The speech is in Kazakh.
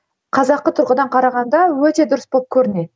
қазақы тұрғыдан қарағанда өте дұрыс болып көрінеді